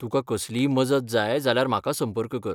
तुका कसलीय मजत जाय जाल्यार म्हाका संपर्क कर.